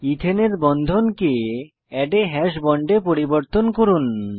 ইথেনের বন্ধনকে এড a হাশ বন্ড এ পরিবর্তন করুন